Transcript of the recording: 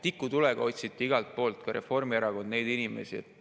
Tikutulega otsiti igalt poolt neid inimesi, ka Reformierakond.